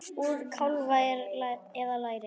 Úr kálfa eða læri!